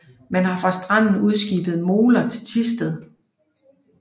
Man har fra stranden udskibet moler til Thisted